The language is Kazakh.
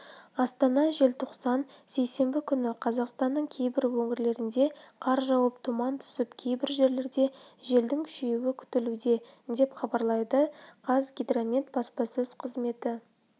астана желтоқсан сейсенбі күні қазақстанның кейбір өңірлерінде қар жауып тұман түсіп кейбір жерлерде желдің күшеюі күтілуде деп хабарлайды қазгидромет баспасөз қызметі